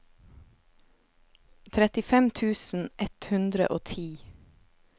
trettifem tusen ett hundre og ti